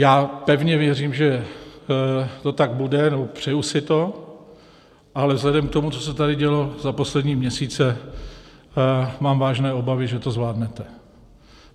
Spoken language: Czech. Já pevně věřím, že to tak bude, nebo přeju si to, ale vzhledem k tomu, co se tady dělo za poslední měsíce, mám vážné obavy, že to zvládnete.